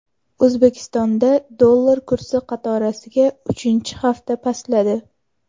O‘zbekistonda dollar kursi qatorasiga uchinchi hafta pastladi.